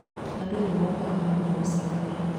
Andũ nĩ mokaga hamwe gũcakaya.